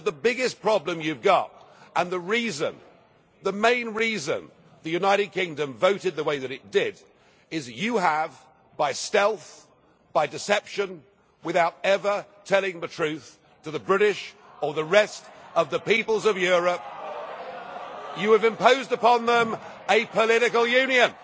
But the biggest problem you have got, and the main reason the United Kingdom voted the way that it did, is that you have, by stealth, by deception, without ever telling the truth to the British or the rest of the peoples of Europe, imposed upon them a political union.